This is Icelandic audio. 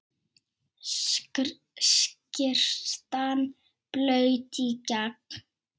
Skyrtan blaut í gegn.